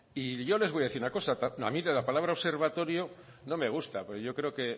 y yo les voy a decir una cosa a mí la palabra observatorio no me gusta porque yo creo que